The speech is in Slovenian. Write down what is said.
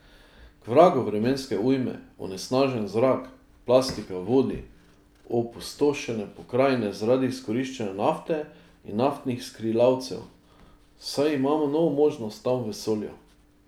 K vragu vremenske ujme, onesnažen zrak, plastika v vodi, opustošene pokrajine zaradi izkoriščanja nafte in naftnih skrilavcev, saj imamo novo možnost tam v vesolju!